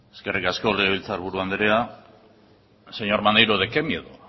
eskerrik asko legebiltzarburu andrea señor maneiro de qué miedo